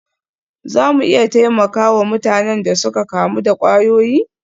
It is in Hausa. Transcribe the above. Za mu iya taimaka wa mutanen da suka kamu da kwayoyi?